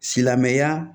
Silamɛya